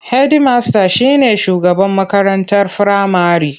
Hedimasta shi ne shugaban makarantar firamare.